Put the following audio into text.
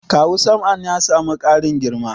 Kawu Sam'an ya samu ƙarin girma?